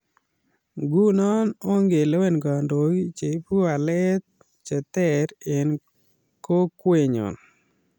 Nguno ongelewen kandoik che ibu kawalet ter eng kokqenyo